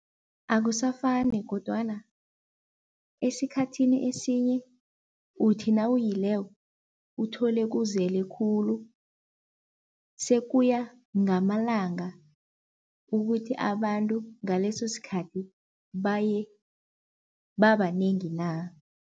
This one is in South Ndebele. Akusafani kodwana esikhathini esinye uthi nawuyileko uthole kuzele khulu, sekuya ngamalanga ukuthi abantu ngaleso sikhathi baye babanengi na.